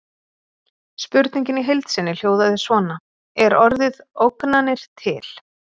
Spurningin í heild sinni hljóðaði svona: Er orðið ógnanir til?